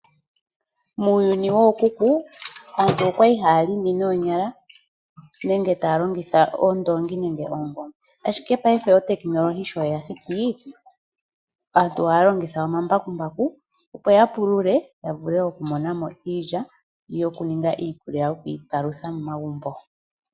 Muuyuni wookuku aantu okwali haya longo noonyala nenge taya longitha oondoongi nenge oongombe. Ashike paife otekinolohi shoyathiki . Aantu ohaya longitha omambakumbaku opo ya pulule yavule oku monamo iilya yininge iikulya yoku iipalutha momagumbo.